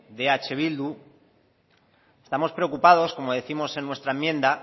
de eh bildu estamos preocupados como décimos en nuestra enmienda